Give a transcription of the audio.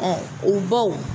U baw